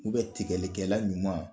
U bɛ tigɛlikɛla ɲuman